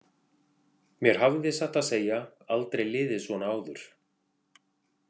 Mér hafði, satt að segja, aldrei liðið svona áður.